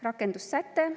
Rakendussäte.